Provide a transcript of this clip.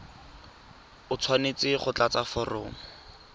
o tshwanetse go tlatsa foromo